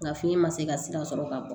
Nka fiɲɛ ma se ka sira sɔrɔ ka bɔ